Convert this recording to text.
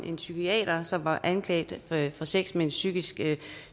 en psykiater som var anklaget for at have sex med en psykisk